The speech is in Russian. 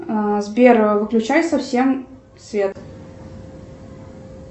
сбер выключай совсем свет